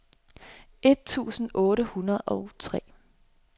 et tusind otte hundrede og tre